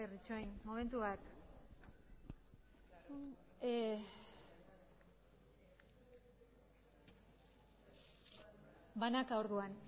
itxaron momentu bat banaka orduan